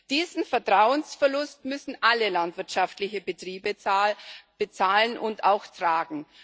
Diesen Vertrauensverlust müssen alle landwirtschaftlichen Betriebe bezahlen und auch tragen.